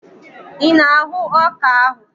Ị na-ahụ ọka ahụ?